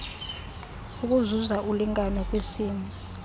ukuzuza ulingano kwisini